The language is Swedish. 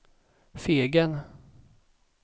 Fegen